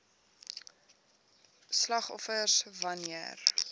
slagoffers wan neer